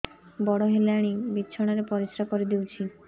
ବଡ଼ ହେଲାଣି ବିଛଣା ରେ ପରିସ୍ରା କରିଦେଉଛି